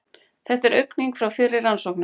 Þetta er aukning frá fyrri rannsóknum